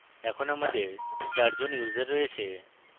এখন আমাদের 4 জন users রয়েছে